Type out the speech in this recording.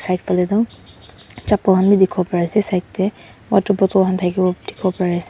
side phale toh chappel khan bi dikipo pari asae side dae water bottle khan takibo dikipo pari asae.